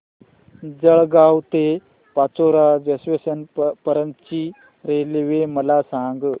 जळगाव ते पाचोरा जंक्शन पर्यंतची रेल्वे मला सांग